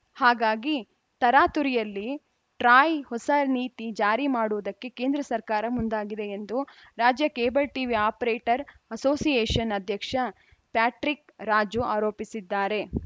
ಹಾಗಾಗಿ ತರಾತುರಿಯಲ್ಲಿ ಟ್ರಾಯ್‌ ಹೊಸ ನೀತಿ ಜಾರಿ ಮಾಡುವುದಕ್ಕೆ ಕೇಂದ್ರ ಸರ್ಕಾರ ಮುಂದಾಗಿದೆ ಎಂದು ರಾಜ್ಯ ಕೇಬಲ್‌ ಟಿವಿ ಅಪರೇಟರ್‌ ಅಸೋಸಿಯೇಷನ್‌ ಅಧ್ಯಕ್ಷ ಪ್ಯಾಟ್ರಿಕ್‌ ರಾಜು ಆರೋಪಿಸಿದ್ದಾರೆ